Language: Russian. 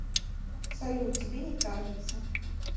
салют тебе не кажется